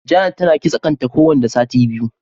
Janet tana kitse kan ta ko wanda sati biyu.